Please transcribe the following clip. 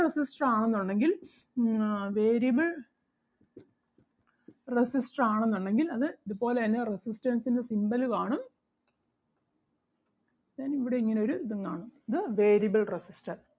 resistor ആണെന്നുണ്ടെങ്കിൽ ah variable resistor ആണെന്നുണ്ടെങ്കിൽ അത് ഇതുപോലെ തന്നെ resistance ൻ്റെ symbol കാണും then ഇവിടെ ഇങ്ങനെ ഒരു ഇതും കാണും. ഇത് variable resistor